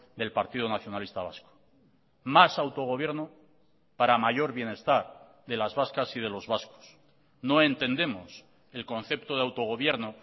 del partido nacionalista vasco más autogobierno para mayor bienestar de las vascas y de los vascos no entendemos el concepto de autogobierno